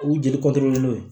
U jeli kɔtɔn n'o ye